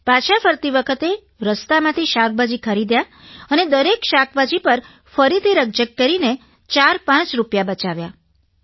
પાછા ફરતી વખતે રસ્તામાંથી શાકભાજી ખરીદ્યાં અને દરેક શાકભાજી પર ફરીથી રકઝક કરીને ચારપાંચ રૂપિયા બચાવ્યાં